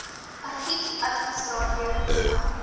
argiefadviesraad weer ingestel